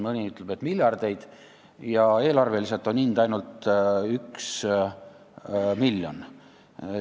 Mõni ütleb, et laekub miljardeid ja selle hind eelarveliselt on ainult 1 miljon.